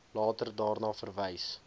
later daarna verwys